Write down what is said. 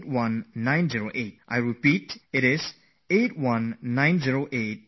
I repeat 8190881908